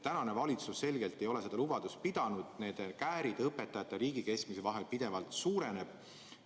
Tänane valitsus selgelt ei ole seda lubadust pidanud, käärid õpetajate ja riigi keskmise palga vahel pidevalt suurenevad.